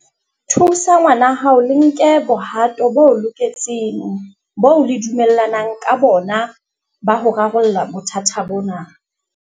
Thusa ngwanahao le nke mohato o loketseng oo le dumellanang ka ona wa ho rarolla bothata bona.